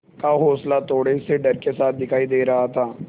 का हौंसला थोड़े से डर के साथ दिखाई दे रहा था